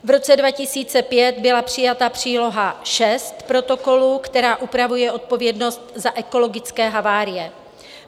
V roce 2005 byla přijata příloha VI Protokolu, která upravuje odpovědnost za ekologické havárie.